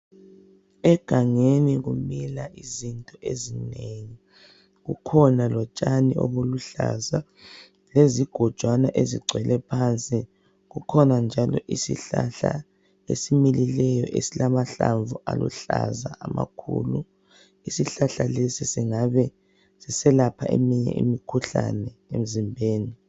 Egangeni kumila izinto ezinengi, kukhona lotshani obuluhlaza lezigojana ezigcwele phansi kukhona njalo isihlahla esimilileyo esilamahlamvu alihlaza amakhulu isihlahla lesi sesingabe siyelapha eminye imikhuhlane emzimbeni